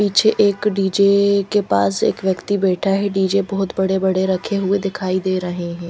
पीछे एक डी_जे के पास एक व्यक्ति बेठा है डी_जे बोहोत बड़े बड़े रखे हुए दिखाई दे रहे है।